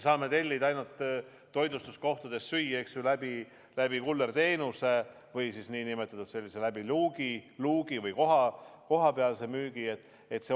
Saab ainult toitlustuskohtadest kullerteenusena süüa tellida või läbi luugi või kaasamüügina.